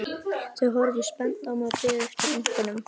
Þau horfðu spennt á mig og biðu eftir einkennunum.